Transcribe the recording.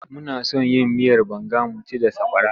Muna son yin miyar banga mu ci da sakwara.